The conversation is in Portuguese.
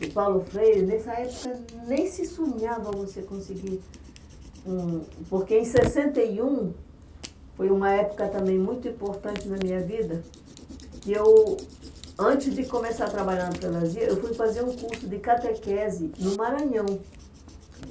do Paulo Freire, nessa época nem se sonhava você conseguir... Hum, porque em sessenta e um, foi uma época também muito importante na minha vida, que eu, antes de começar a trabalhar na Prelasia, eu fui fazer um curso de catequese no Maranhão.